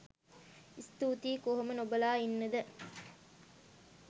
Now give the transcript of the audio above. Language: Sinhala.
ස්තූතියි කොහොම නොබලා ඉන්නද